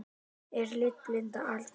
Er litblinda algeng?